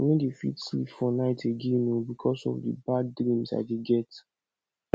i no dey fit sleep for night again oo because of the bad dreams i dey get